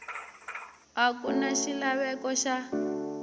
a ku na xilaveko xa